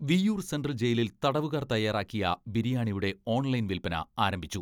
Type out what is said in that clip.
Viyyur central ജയിലിൽ തടവുകാർ തയാറാക്കിയ ബിരിയാണിയുടെ ഓൺലൈൻ വിൽപന ആരംഭിച്ചു.